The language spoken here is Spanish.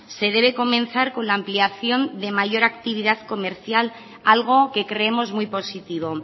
se debe comenzar con la ampliación de mayor actividad comercial algo que creemos muy positivo